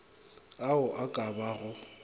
ao a ka ba go